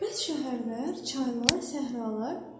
Bəs şəhərlər, çaylar, səhralar?